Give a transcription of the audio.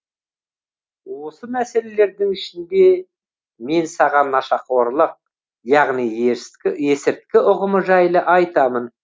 осы мәселелердің ішінде мен саған нашақорлық яғни есірткі ұғымы жайлы айтамын